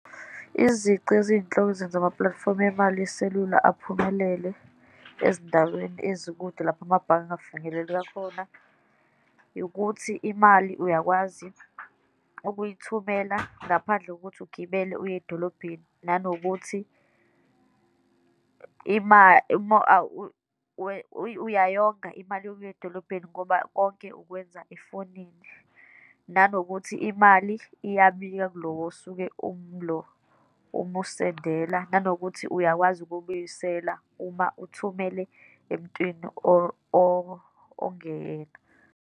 Izici eziyinhloko ezenza amapulatifomu emali yeselula aphumelele ezindaweni ezikude lapho amabhange engafinyeleli kakhona, yikuthi imali uyakwazi ukuyithumela ngaphandle kokuthi ugibele uye edolobheni, nanokuthi uyayonga imali yokuya edolobheni ngoba konke ukwenza efonini, nanokuthi imali iyabika lo osuke umlo umusendela, nanokuthi uyakwazi ukubuyisela uma uthumele emntwini ongeyena.